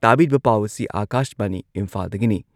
ꯑꯊꯤꯡꯕ ꯑꯁꯤ ꯂꯩꯔꯤꯉꯩ ꯃꯅꯨꯡꯗ ꯃꯤ ꯃꯉꯥ ꯅꯠꯇ꯭ꯔꯒ ꯃꯉꯥꯗꯒꯤ ꯍꯦꯟꯅ ꯄꯨꯟꯕ